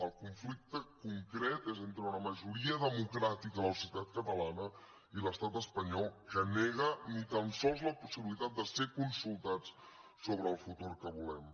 el conflicte concret és entre una majoria democràtica de la societat catalana i l’estat espanyol que nega ni tan sols la possibilitat de ser consultats sobre el futur que volem